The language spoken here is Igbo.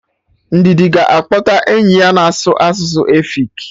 Ndidi ga akpọta enyi ya na-asụ asụsụ efik